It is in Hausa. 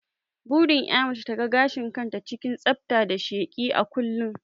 Burin ƴa mace ta ga gashin ta cikin tsafta da sheki a kullun